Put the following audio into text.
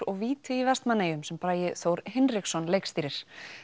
og víti í Vestmannaeyjum sem Bragi Þór Hinriksson leikstýrir